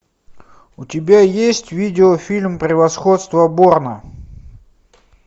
у тебя есть видеофильм превосходство борна